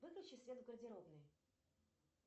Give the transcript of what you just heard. выключи свет в гардеробной